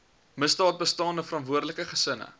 misdaadbestande verantwoordelike gesinne